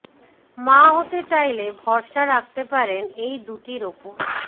মা হতে চাইলে ভরসা রাখতে পারেন এই দুটির উপর